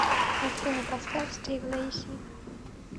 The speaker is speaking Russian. афина поставь стив лейси